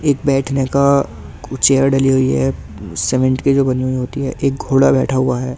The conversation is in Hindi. एक बैठने का कुछ चेयर डाली हुई है सीमेंट की जो बनी हुई होती है एक घोड़ा बैठा हुआ है ।